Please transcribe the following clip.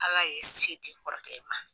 Ala ye se di n kɔrɔkɛ ma.